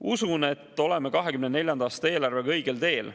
Usun, et oleme 2024. aasta eelarvega õigel teel.